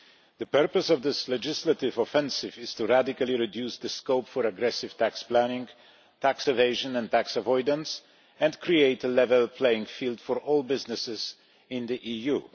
The purpose of this legislative offensive is to radically reduce the scope for aggressive tax planning, tax evasion and tax avoidance and create a level playing field for all businesses in the EU.